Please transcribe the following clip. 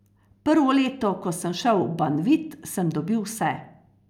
Prvo leto, ko sem šel v Banvit, sem dobil vse.